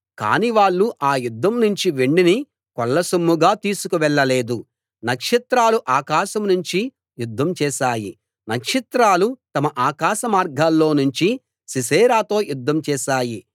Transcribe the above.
కాని వాళ్ళు ఆ యుద్ధం నుంచి వెండిని కొల్లసొమ్ముగా తీసుకువెళ్ళలేదు నక్షత్రాలు ఆకాశం నుంచి యుద్ధం చేశాయి నక్షత్రాలు తమ ఆకాశమార్గాల్లో నుంచి సీసెరాతో యుద్ధం చేశాయి